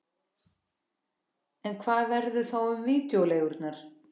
En hvað verður þá um vídeóleigurnar?